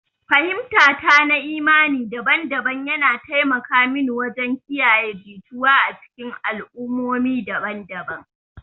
Fahimtata na imani daban-daban yana taimaka mini wajen kiyaye jituwa a cikin al'ummomi daban-daban.